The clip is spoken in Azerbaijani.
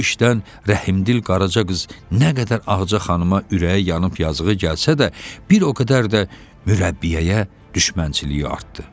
Bu işdən Rəhimdil Qaraca qız nə qədər Ağaca xanıma ürəyi yanıb yazığı gəlsə də, bir o qədər də mürəbbiyəyə düşmənçiliyi artdı.